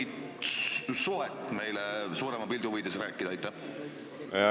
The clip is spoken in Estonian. Oskad sa mingit suhet meile suurema pildi huvides selgitada?